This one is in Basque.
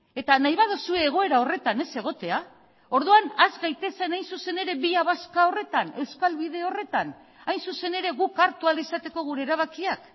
eta nahi baduzue egoera horretan ez egotea orduan has gaitezen hain zuzen ere vía vasca horretan euskal bide horretan hain zuzen ere guk hartu ahal izateko gure erabakiak